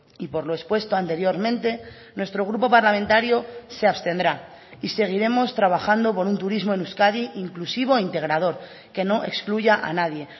y por lo expuesto anteriormente nuestro grupo parlamentario se abstendrá y seguiremos trabajando por un turismo en euskadi inclusivo e integrador que no excluya a nadie